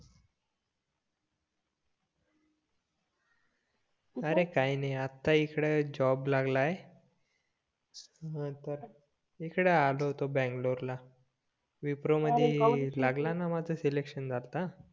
अरे काय नाय आता इकडे जॉब लागलाय नतंर इकडे आलो होतो बंगलोर ला विप्रो मध्ये लागला माझा सिलेकंशन आता